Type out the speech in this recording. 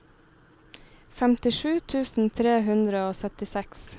femtisju tusen tre hundre og syttiseks